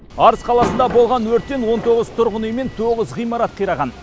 арыс қаласында болған өрттен он тоғыз тұрғын үй мен тоғыз ғимарат қираған